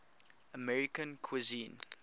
american cuisine